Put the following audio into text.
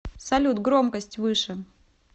салют громкость выше